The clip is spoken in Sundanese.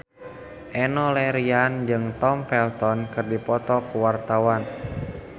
Enno Lerian jeung Tom Felton keur dipoto ku wartawan